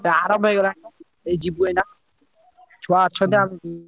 ଆରମ୍ଭ ହେଇଗଲାଣି ଏଇ ଯିବୁ ଏଇନା ଛୁଆ ଅଛନ୍ତି ଆମେ ଯିବୁ।